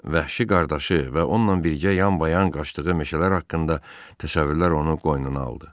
Vəhşi qardaşı və onunla birgə yanbayan qaçdığı meşələr haqqında təsəvvürlər onu qoynuna aldı.